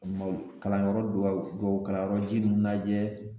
kalanyɔrɔ dubaw dubaw kalanyɔrɔ ji ninnu lajɛ